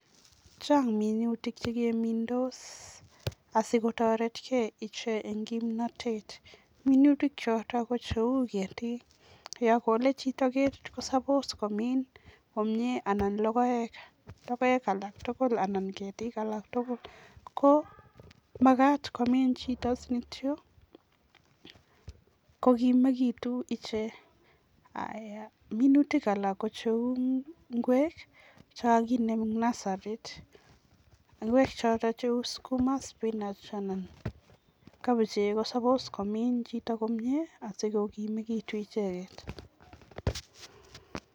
Chang minutik chemingdos asikotoretkei ichek eng kimnotet, minutik choto ko cheu ketiik, yo kole chito ketie ko suppose[cs[ komiin komnye anan logoek alak tugul anan ketiik alak tugul, ko makat komiin chito sinityo kokiimikitu ichek. Minutik alak kou ingwek chekakinem eng nasarit, ingwek choto ko cheu sukuma, spinach anan kabichek ko suppose komiin chito komnye asikokimekitu icheket.